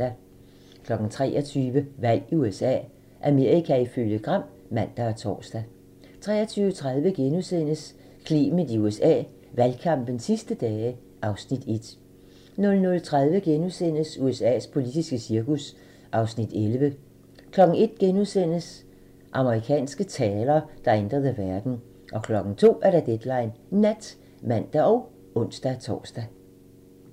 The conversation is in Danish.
23:00: Valg i USA - Amerika ifølge Gram (man og tor) 23:30: Clement i USA: Valgkampens sidste dage (Afs. 1)* 00:30: USA's politiske cirkus (Afs. 11)* 01:00: Amerikanske taler, der ændrede verden * 02:00: Deadline Nat (man og ons-tor)